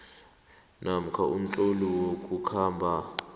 namkha umtlolo wokukhamba